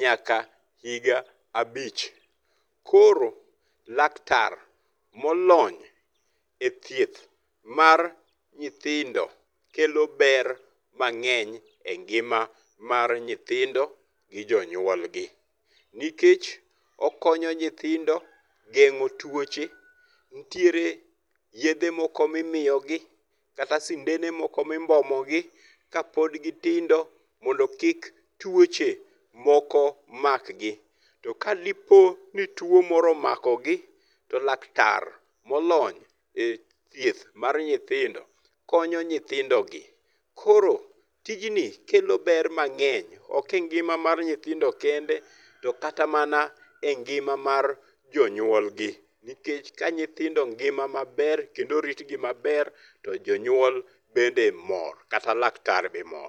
nyaka higa abich. Koro laktar molony e thieth mar nyithindo kelo ber mang'eny engima mar nyithindo gi jonyuolgi. Nikech okonyo nyithindo geng'o tuoche, nitiere yedhe moko mimiyogi, kata sendene moko mimbomogi kapod gitindo mondo kik tuoche moko makgi. To kadipo ni tuo moro omakogi, to laktar molony ethieth mar nyithindo, konyo nyithindogi. Koro tijni kelo ber mang'eny ok engima mar nyithindo kende, to kata mana engima mar jonyuolgi nikech ka nyithindo ngima maber kendo oritgi maber to jonyuol bende mor kata laktar be mor.